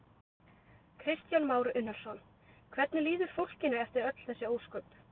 Kristján Már Unnarsson: Hvernig líður fólkinu eftir öll þessi ósköp?